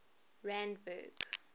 randburg